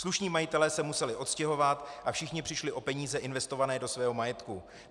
Slušní majitelé se museli odstěhovat a všichni přišli o peníze investované do svého majetku.